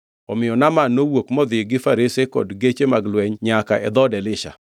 Omiyo Naaman nowuok modhi gi farese kod geche mag lweny nyaka e dhood Elisha.